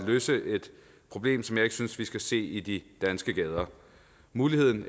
løse et problem som jeg ikke synes vi skal se i de danske gader muligheden